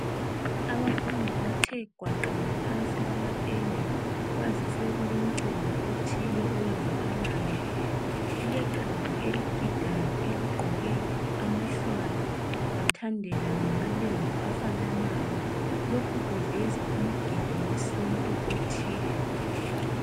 Abafundi bathe gwaqa ngaphansi kwamatende. Kwazise kulomcimbi othile owenzakalayo Kuleqembu eligidayo eligqoke amahlwayi bathandela ngamalembu afananayo lokhu kuveza umgido wesintu othile.